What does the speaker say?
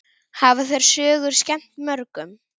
Hafa þær sögur skemmt mörgum.